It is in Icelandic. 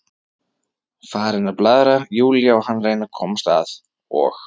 Farin að blaðra, Júlía, hann að reyna að komast að, og